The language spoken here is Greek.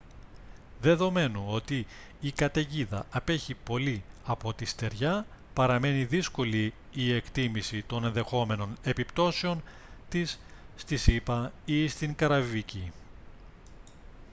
δεδομένου ότι η καταιγίδα απέχει πολύ από τη στεριά παραμένει δύσκολη η εκτίμηση των ενδεχόμενων επιπτώσεων της στις ηπα ή στην καραϊβική